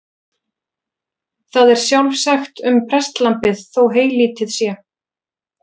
Það er sjálfsagt um prestlambið þó heylítið sé.